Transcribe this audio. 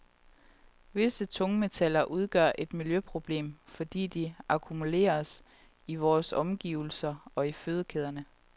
Visse tungmetaller udgør et miljøproblem, fordi de akkumuleres i vore omgivelser og i fødekæderne.